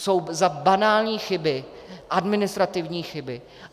Jsou za banální chyby, administrativní chyby.